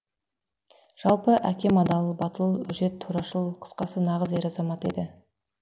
жалпы әкем адал батыл өжет турашыл қысқасы нағыз ер азамат еді